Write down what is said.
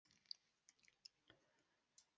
Eruð þið sár út í hann?